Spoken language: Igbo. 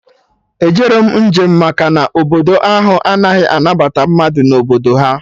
Ejerọ m njem maka na Obodo ahụ anaghị anabata mmadụ na Obodo ha